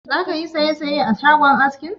Zaka yi saisaye a shagon askin?